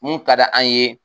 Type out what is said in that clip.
Mun ka di an ye